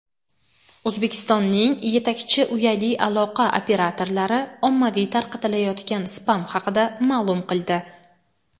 O‘zbekistonning yetakchi uyali aloqa operatorlari ommaviy tarqatilayotgan spam haqida ma’lum qildi.